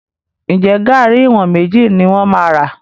Ǹjẹ́ garri ìwọ̀n méjì ni mo máa rà?